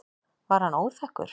Var hann óþekkur?